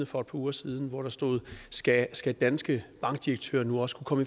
for et par uger siden hvor der stod skal skal danske bankdirektører nu også kunne